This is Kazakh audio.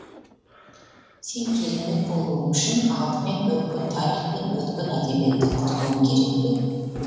сен керемет болуың үшін алдымен өткен тарих пен өткен әдебиетті құртуың керек пе